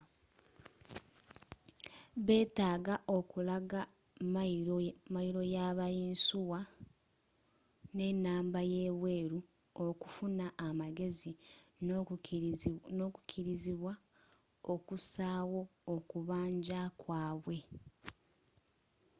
betaaga okulaga ymayiro yaba yinsuwa nenamba yebweru okufuna amagezi n'okukirizibwa okusaayo okubanja kwabwe